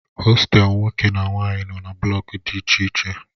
Hostelu nwoke na nwanyị nọ na blọk dị iche iche